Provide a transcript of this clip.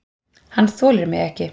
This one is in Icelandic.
Hann þolir mig ekki.